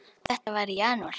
Þetta var í janúar.